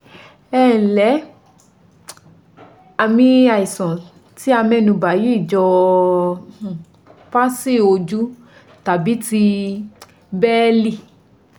Ẹǹlẹ́, Àmì àìsàn tí a mẹ́nubà yìí jọ palsy ojú tàbí ti Bẹ́ẹ̀lì